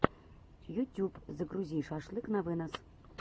ютюб загрузи шашлык на вынос